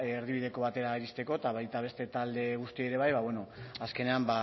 erdibideko batera iristeko eta baita beste talde guztiei ere bai azkenean